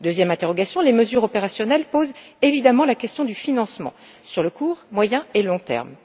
Deuxième interrogation les mesures opérationnelles posent évidemment la question du financement sur le court, le moyen et le long terme.